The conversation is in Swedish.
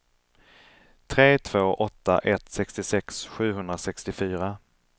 tre två åtta ett sextiosex sjuhundrasextiofyra